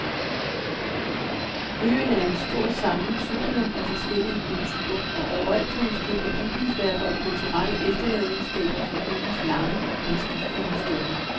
Øen er et stor sammensurium af forskellige kulturer, og overalt kan man støde på bygningsværker og kulturelle efterladenskaber fra øens lange, omskiftelige historie.